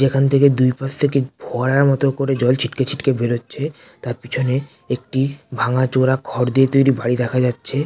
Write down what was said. এখান থেকে দুই পাশ থেকে ফোয়ারার মতো করে জল ছিটকে ছিটকে বেরোচ্ছে তার পিছনে একটি ভাঙাচোরা খড় দিয়ে তৈরি বাড়ি দেখা যাচ্ছে।